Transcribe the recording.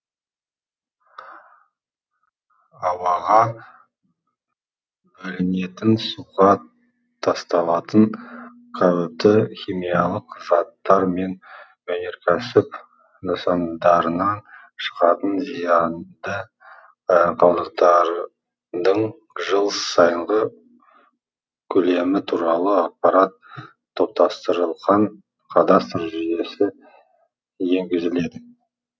ауаға бөлінетін суға тасталатын қауіпті химиялық заттар мен өнеркәсіп нысандарынан шығатын зиянды қалдықтардың жыл сайынғы көлемі туралы ақпарат топтастырылған кадастр жүйесі енгізіледі